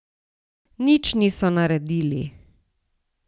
Nič niso naredili.